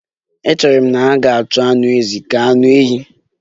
Echere m na ha ga-ahọrọ anụ ezi ka anụ ehi